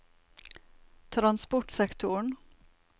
transportsektoren